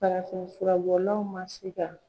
Farafin furabɔlaw ma se ka